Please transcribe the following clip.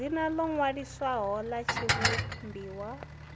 dzina ḽo ṅwaliswaho ḽa tshivhumbiwa